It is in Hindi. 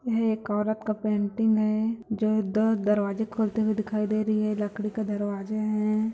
यह एक औरत का पेंटिंग है जो द दरवाजा खोलते हुए दिखाई दे रही है लकड़ी का दरवाजे है।